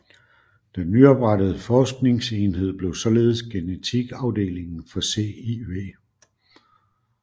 Den nyoprettede forskningsenhed blev således genetikafdelingen for CIW